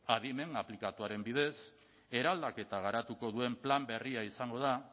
adimen aplikatuaren bidez eraldaketa garatuko duen plan berria izango da